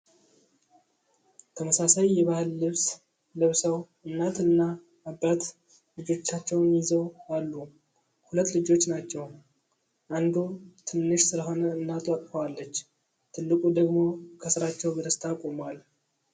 ተመሳሳይ የባህል ልብስ ለብሰው እናት እና አባት ልጆቻቸዉን ይዘው አሉ። ሁለት ልጆች ናቸው። አንዱ ትንሽ ሰለሆነ እናቱ አቅፋዋለች። ትልቁ ደግሞ ከስራቸው በደስታ ቆሟል።